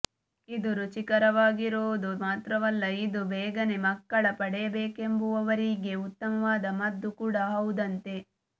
ಇದು ರುಚಿಕರವಾಗಿರುವುದು ಮಾತ್ರವಲ್ಲ ಇದು ಬೇಗನೇ ಮಕ್ಕಳ ಪಡೆಯಬೇಕೆಂಬುವವರಿಗೆ ಉತ್ತಮವಾದ ಮದ್ದು ಕೂಡ ಹೌದಂತೆ